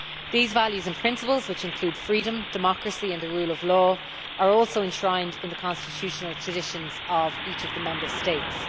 These values and principles, which include freedom, democracy and the rule of law, are also enshrined in the constitutional traditions of each of the Member States.